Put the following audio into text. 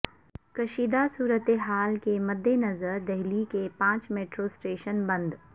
کشیدہ صورت حال کے مدنظر دہلی کے پانچ میٹرو اسٹیشن بند